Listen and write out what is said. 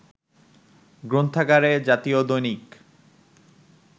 গ্রন্থাগারে জাতীয় দৈনিক